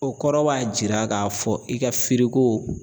O kɔrɔ b'a jira k'a fɔ i ka firiko